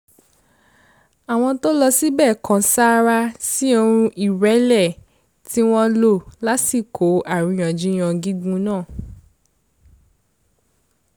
àwọn tó lọ síbẹ̀ kan sárá sí ohùn ìrẹ̀lẹ̀ ti wọ́n lò lásìkò àríyànjiyàn gígùn náà